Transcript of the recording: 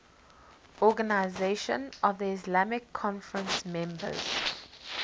organisation of the islamic conference members